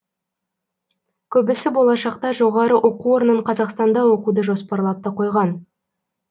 көбісі болашақта жоғары оқу орнын қазақстанда оқуды жоспарлап та қойған